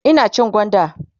Ina cin gwanda